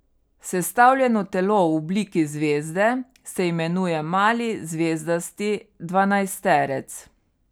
Sestavljeno telo v obliki zvezde se imenuje mali zvezdasti dvanajsterec.